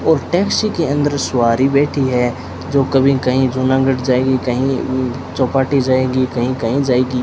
और टैक्सी के अंदर सवारी बैठी है जो कभी कहीं जूनागढ़ जाएगी कहीं चौपाटी जाएगी कहीं कहीं जाएगी।